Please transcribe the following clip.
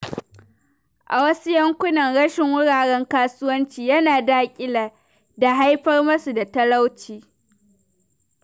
A wasu yankunan, rashin wuraren kasuwanci yana daƙile da haifar musu da talauci.